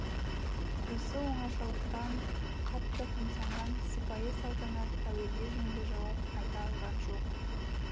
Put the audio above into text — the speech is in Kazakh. осы оңашалықтан қатты қымсынған сыпайы салтанат әуелде жөнді жауап айта алған жоқ